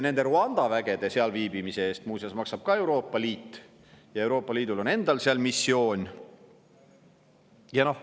Rwanda vägede seal viibimise eest muuseas maksab Euroopa Liit ja Euroopa Liidul on endal seal missioon.